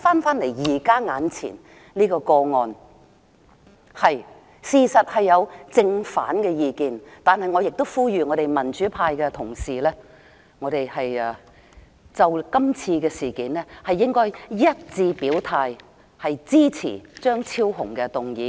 回到現在眼前這個個案，民主派對此事雖有正反意見，但我亦呼籲我們民主派的同事就今次事件一致表態，支持張超雄議員的議案。